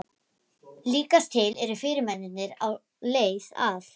Líkast til eru fyrirmennirnir á leið að